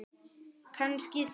Kannski þrjár.